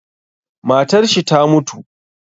Matarshi ta mutu